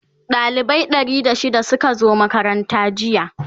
dalibai Ɗari da shida Suka zo makaranta jiya